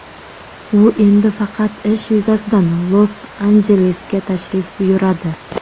U endi faqat ish yuzasidan Los-Anjelesga tashrif buyuradi.